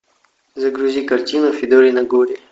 загрузи картину федорино горе